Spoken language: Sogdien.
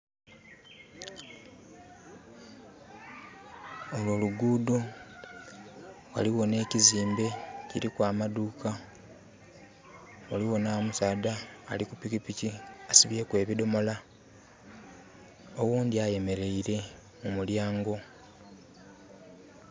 Olwo lugudho, ghaliwo n'ekizimbe ekiriku amaduuka ghaliwo n'omusaadha ali kupikipiki asibyeku ebidomola. Oghundi ayemeleire mu mulyango.